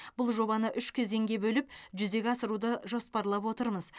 бұл жобаны үш кезеңге бөліп жүзеге асыруды жоспарлап отырмыз